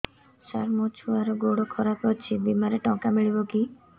ସାର ମୋର ଛୁଆର ଗୋଡ ଖରାପ ଅଛି ବିମାରେ ଟଙ୍କା ମିଳିବ କି